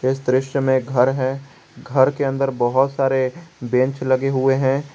इस दृश्य मे एक घर है घर के अंदर बहुत सारे बेंच लगे हुए हैं।